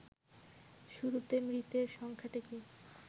শুরুতে মৃতের সংখ্যাটিকে